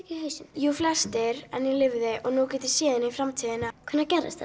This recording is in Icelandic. jú flestir en ég lifði og nú get ég séð inn í framtíðina hvenær gerðist